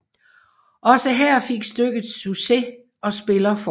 Også her fik stykket succes og spiller fortsat